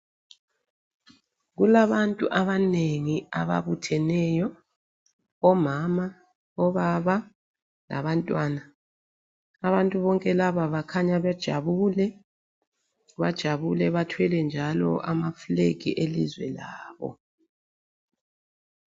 Kulabantu abanengi ababutheneyo omama, obaba labantwana. Abantu bonke laba bakhanya bejabule, bajabule bathwele njalo amafilegi elizwe labo.